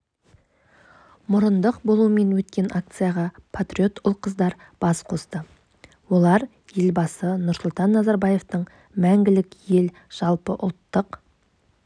мұрындық болуымен өткен акцияға патриот ұл-қыздар бас қосты олар елбасы нұрсұлтан назарбаевтың мәңгілік ел жалпыұлттық